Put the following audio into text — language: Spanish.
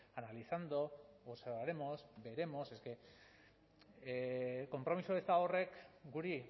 analizando observaremos veremos veremos konpromiso eza horrek guri